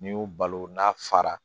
N'i y'u balo n'a fara